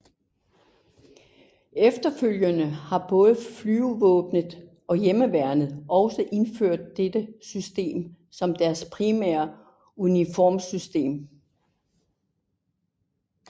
Efterfølgende har både Flyvevåbnet og Hjemmeværnet også indført dette system som deres primære uniformssystem